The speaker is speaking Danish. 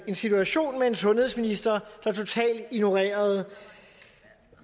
en situation med en sundhedsminister der totalt ignorerede